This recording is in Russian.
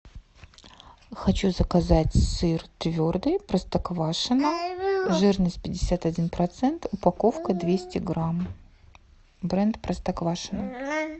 хочу заказать сыр твердый простоквашино жирность пятьдесят один процент упаковка двести грамм бренд простоквашино